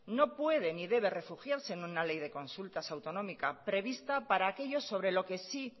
no puede ni debe refugiarse en una ley de consultas autonómica prevista para aquello sobre lo que sí